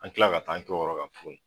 An kila ka t'an kɛ o yɔrɔ kan tuguni.